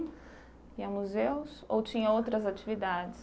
Ir a museus ou tinha outras atividades?